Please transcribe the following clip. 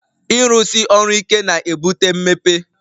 Ịrụsi ọrụ ike na-ebute mmepe